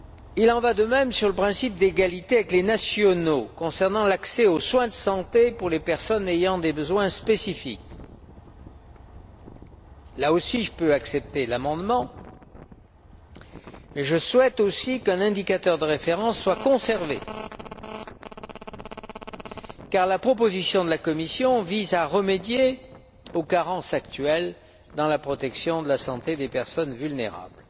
Il en va de même pour le principe d'égalité avec les nationaux concernant l'accès aux soins de santé pour les personnes ayant des besoins spécifiques. Là aussi, je peux accepter l'amendement, mais je souhaite aussi qu'un indicateur de référence soit conservé, car la proposition de la Commission vise à remédier aux carences actuelles en matière de protection de la santé des personnes vulnérables.